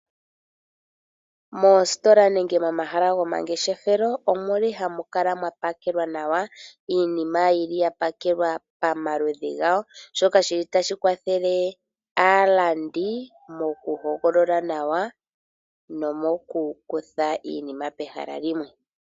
Mositola nenge momahala gomangeshefelo omuli hamukala mwapalelwa nawa iinima yili yapakelwa pamaludhi gawo shoka shili tashikwathele alandi mokuhogolola nawa nomoku kutha iinima pehala limwe.